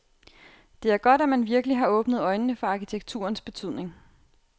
Det er godt, at man virkelig har åbnet øjnene for arkitekturens betydning.